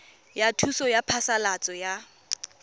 ya thuso ya phasalatso ya